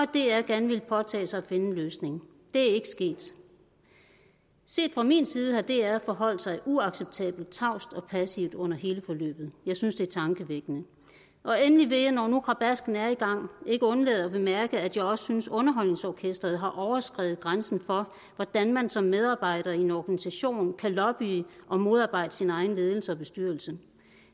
dr gerne ville påtage sig at finde en løsning det er ikke sket set fra min side har dr forholdt sig uacceptabelt tavst og passivt under hele forløbet jeg synes det er tankevækkende endelig vil jeg når nu krabasken er i gang ikke undlade at bemærke at jeg også synes underholdningsorkestret har overskredet grænsen for hvordan man som medarbejder i en organisation kan lobbye og modarbejde sin egen ledelse og bestyrelse